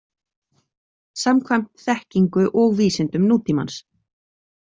Samkvæmt þekkingu og vísindum nútímans.